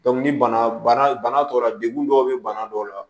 ni bana bana tɔ la degun dɔw bɛ bana dɔw la